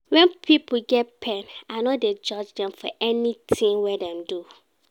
Wen pipo get pain, I no dey judge dem for anytin wey dem do.